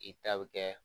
I ta bɛ kɛ